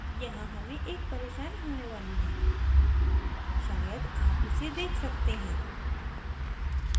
यहाँ हमें एक परेशानी होने वाली है शायद आप इसे देख सकते हैं